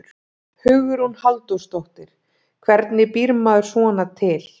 Hugrún Halldórsdóttir: Hvernig býr maður svona til?